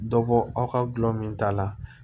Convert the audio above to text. Dɔ bɔ aw ka gulɔ min ta la